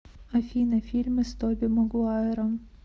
афина фильмы с тоби магуайром